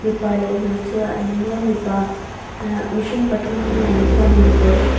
mipa leh hmeichhia an nia mipa ahh mihring pathum lang khianin kawr --